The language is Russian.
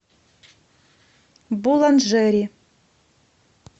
буланжери